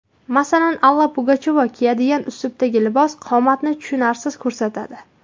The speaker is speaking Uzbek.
Masalan, Alla Pugachyova kiyadigan uslubdagi libos, qomatni tushunarsiz ko‘rsatadi.